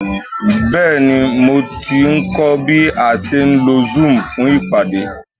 Bẹ́ẹ̀ni, mo ti ń kọ́ bí a ṣe ń lo zoom fún ìpàdé